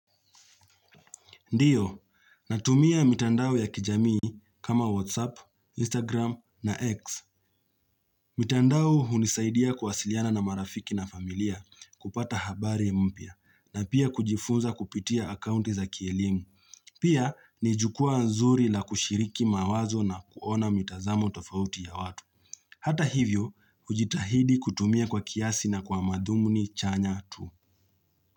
Ndio, natumia mitandao ya kijamii kama WhatsApp, Instagram na X. Mitandao hunisaidia kuwasiliana na marafiki na familia kupata habari mpya na pia kujifunza kupitia akounti za kielimu. Pia, ni jukwaa nzuri la kushiriki mawazo na kuona mitazamo tofauti ya watu. Hata hivyo, ujitahidi kutumia kwa kiasi na kwa madhumuni chanya tu.